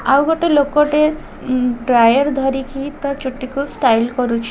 ଆଉ ଗୋଟେ ଲୋକଟେ ଉଁ ଡ୍ରାୟର ଧରିକି ତା ଚୁଟିକୁ ଷ୍ଟାଇଲ କରୁଛି।